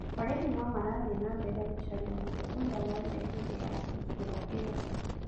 borithi no marathiĩ na mbere gũcaria mũndũ ũrĩa worire hĩndĩ ya tharĩkĩro ĩyo.